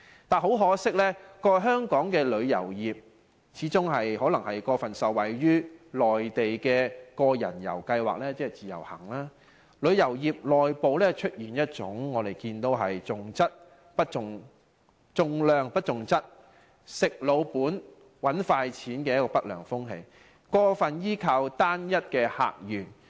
但很可惜，過去香港旅遊業始終過分受惠於內地個人遊計劃，旅遊業內部出現一種重量不重質，"食老本"、"搵快錢"的不良風氣，過分依靠單一客源。